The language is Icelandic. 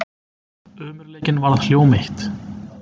Ömurleikinn varð hjóm eitt.